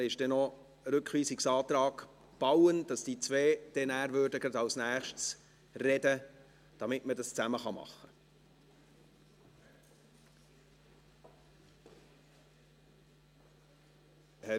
Es gibt noch einen Rückweisungsantrag Bauen, sodass diese beiden Herren dann gleich als Nächste sprechen würden, damit wir dies zusammen behandeln können.